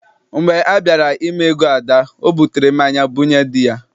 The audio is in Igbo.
Mgbe a bịara ime ego Ada, ọ butere mmanya bunye dị ya.